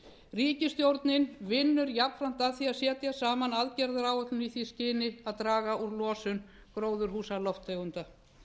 ríkisstjórnin vinnur jafnframt að því að setja saman aðgerðaáætlun í því skyni að draga úr losun gróðurhúsalofttegunda